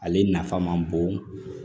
Ale nafa man bon